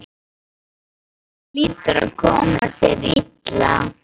Það hlýtur að koma sér illa.